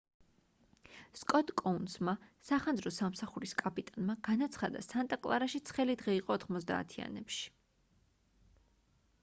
სკოტ კოუნსმა სახანძრო სამსახურის კაპიტანმა განაცხადა სანტა კლარაში ცხელი დღე იყო 90-ანებში